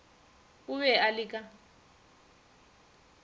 o be a le ka